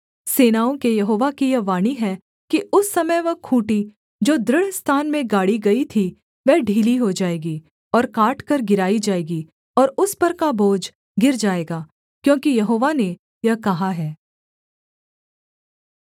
सेनाओं के यहोवा की यह वाणी है कि उस समय वह खूँटी जो दृढ़ स्थान में गाड़ी गई थी वह ढीली हो जाएगी और काटकर गिराई जाएगी और उस पर का बोझ गिर जाएगा क्योंकि यहोवा ने यह कहा है